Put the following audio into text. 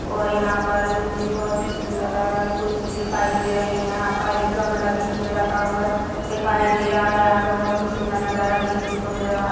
और यहाँ पर मुझे बहुत ही सुन्दर लग रहा है कुर्सी दिखाई दे रही है यहाँ पर एक गमला बीच में रखा हुआ दिखाई दे रहा यहाँ पर बहुत ही सुन्दर नजारा देखने को मिल रहा है।